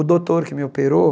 O doutor que me operou,